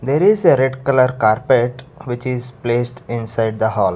There is a red colour carpet which is placed inside the hall.